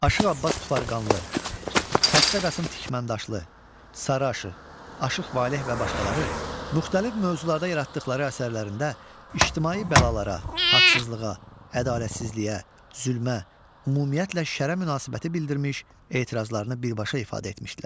Aşıq Abbas Tufarqanlı, Xəstə Qasım Tikməndaşlı, Sarı Aşıq, Aşıq Valeh və başqaları müxtəlif mövzularda yaratdıqları əsərlərində ictimai bəlalara, haqsızlığa, ədalətsizliyə, zülmə, ümumiyyətlə şərə münasibəti bildirmiş, etirazlarını birbaşa ifadə etmişdilər.